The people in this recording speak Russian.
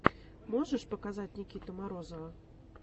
можешь показать никиту морозова